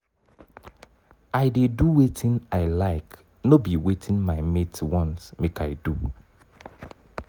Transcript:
i dey do wetin i like no be wetin my mates want make i do.